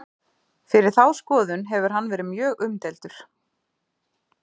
Fyrir þá skoðun hefur hann verið mjög umdeildur.